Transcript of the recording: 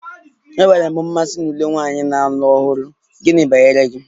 Enwere m mmasị na uwe nwanyị na-alụ ọhụrụ, gịnị banyere gị?